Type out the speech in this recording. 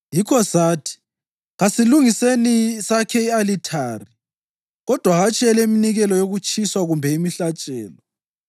Yikho sathi, ‘Kasilungiseni sakhe i-alithari, kodwa hatshi eleminikelo yokutshiswa kumbe imihlatshelo.’